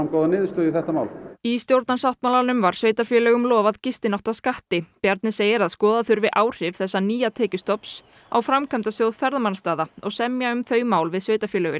niðurstöðu í þetta mál í stjórnarsáttmálanum var sveitarfélögum lofað gistináttaskatti Bjarni segir að skoða þurfi áhrif þessa nýja tekjustofns á Framkvæmdasjóð ferðamannastaða og semja um þau mál við sveitarfélögin